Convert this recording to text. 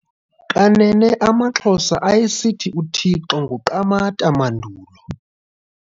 Kanene amaXhosa ayesithi uThixo nguQamatha mandulo.